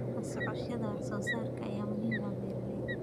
La socoshada wax soo saarka ayaa muhiim u ah beeralayda.